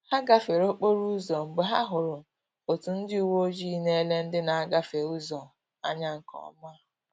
Ha gafere okporo ụzọ mgbe ha hụrụ otu ndị uweojii na-ele ndị na-agafe ụzọ anya nke ọma